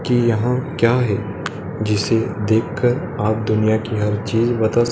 की यहां क्या है? जिसे देखकर आप दुनिया की हर चीज बता सके--